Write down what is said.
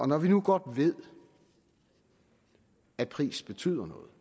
når vi nu godt ved at pris betyder noget